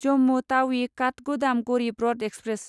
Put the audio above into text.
Jammu Tawi Kathgodam Garib Rath express